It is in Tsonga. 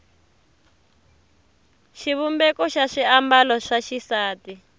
xivumbeko xa swiambalo swa xisati